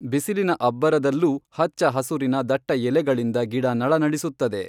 ಬಿಸಿಲಿನ ಅಬ್ಬರದಲ್ಲೂ ಹಚ್ಚಹಸುರಿನ ದಟ್ಟ ಎಲೆಗಳಿಂದ ಗಿಡ ನಳನಳಿಸುತ್ತದೆ.